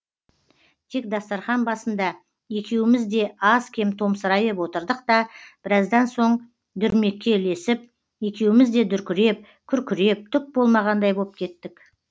тек дастарқан басында екеуміз де аз кем томсырайып отырдық та біраздан соң дүрмекке ілесіп екеуміз де дүркіреп күркіреп түк болмағандай боп кеттік